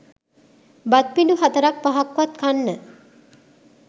බත් පිඬු හතරක් පහක්වත් කන්න